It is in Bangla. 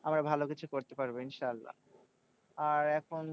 আমরা ভালো কিছু করতে পারবো ইনশাআল্লা আর এখন